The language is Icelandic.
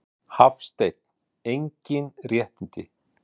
Hafsteinn: Engin réttindi?